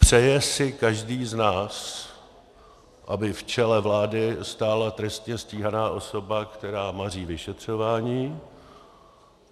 Přeje si každý z nás, aby v čele vlády stála trestně stíhaná osoba, která maří vyšetřování?